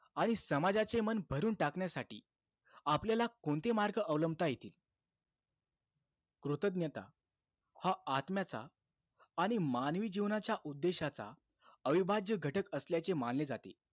आणि समाजाचे मन भरून टाकण्यासाठी आपल्याला कोणते मार्ग अवलंबता येतील? कृतज्ञता, हा आत्म्याचा आणि मानवी जीवनाच्या उद्देशाचा अविभाज्य घटक असल्याचे मानले जाते.